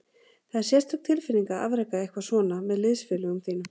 Það er sérstök tilfinning að afreka eitthvað svona með liðsfélögum þínum.